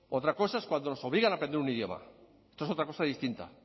otra cosa es cuando nos obligan a aprender un idioma esto es otra cosa distinta